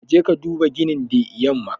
Ka je ka duba ginin the yamma.